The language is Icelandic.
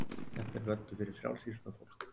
Þetta er völlur fyrir frjálsíþróttafólk.